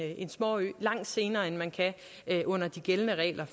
en småø langt senere end man kan under de gældende regler